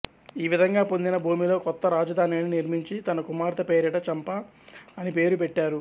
ఈ విధంగా పొందిన భూమిలో కొత్త రాజధానిని నిర్మించి తన కుమార్తె పేరిట చంపా అని పేరు పెట్టారు